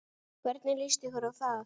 Hvernig líst ykkur á það?